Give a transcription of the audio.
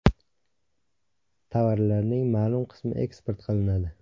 Tovarlarning ma’lum qismi eksport qilinadi.